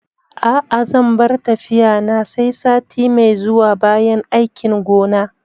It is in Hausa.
A'a zan bar tafiya na sai sati mai zuwa bayan aikin gona